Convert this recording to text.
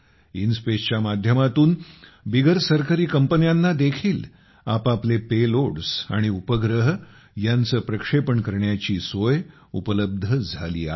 इनस्पेसच्या माध्यमातून बिगर सरकारी कंपन्यांना देखील आपापले पेलोड्स आणि उपग्रह यांचे प्रक्षेपण करण्याची सोय उपलब्ध झाली आहे